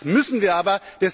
Das müssen wir aber!